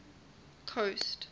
coast